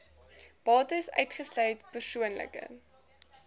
bates uitgesluit persoonlike